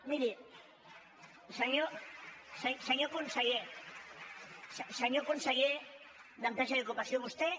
miri senyor conseller senyor conseller d’empresa i ocupació vostè